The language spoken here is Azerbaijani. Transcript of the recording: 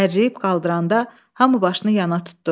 Hərləyib qaldıranda hamı başını yana tutdu.